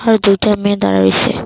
আর দুইটা মেয়ে দাঁড়ায় রইসে।